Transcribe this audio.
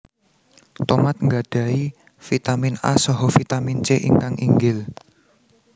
Tomat nggadhahi Vitamin A saha Vitamin C ingkang inggil